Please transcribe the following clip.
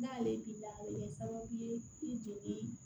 N'ale b'i la a bɛ kɛ sababu ye i joli